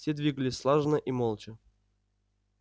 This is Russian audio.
все двигались слаженно и молча